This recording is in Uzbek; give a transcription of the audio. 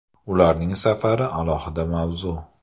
Ularning safari – alohida mavzu.